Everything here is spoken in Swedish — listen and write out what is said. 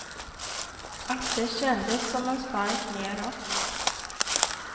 Att det kändes som en spark nedåt.